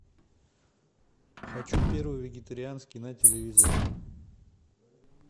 хочу первый вегетарианский на телевизоре